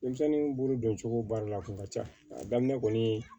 Denmisɛnnin bolo don cogo baara la a kun ka ca a daminɛ kɔni